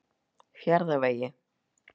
Fjarðarvegi